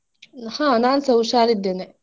ಹಾ ನಾನ್ಸ ಹುಷಾರ್ ಇದ್ದೇನೆ.